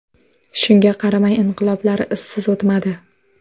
Shunga qaramay, inqiloblar izsiz o‘tmadi.